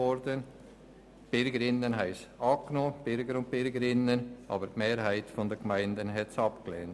Die Bürgerinnen und Bürger haben sie zwar angenommen, aber die Mehrheit der Gemeinden hat sie abgelehnt.